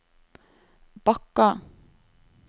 Bakka